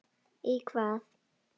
Í hvað?